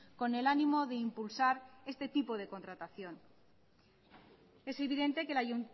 con el ánimo de impulsar este tipo de contratación es evidente que la